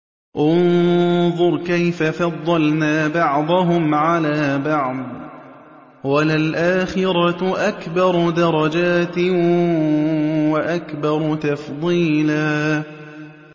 انظُرْ كَيْفَ فَضَّلْنَا بَعْضَهُمْ عَلَىٰ بَعْضٍ ۚ وَلَلْآخِرَةُ أَكْبَرُ دَرَجَاتٍ وَأَكْبَرُ تَفْضِيلًا